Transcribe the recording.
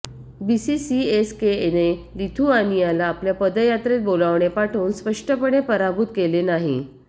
BC सीएसकेएने लिथुआनियनला आपल्या पदयात्रेत बोलावणे पाठवून स्पष्टपणे पराभूत केले नाही